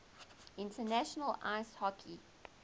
international ice hockey